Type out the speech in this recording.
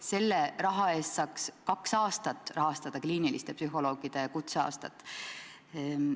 Selle raha eest saaks kliiniliste psühholoogide kutseaastat rahastada kaks aastat.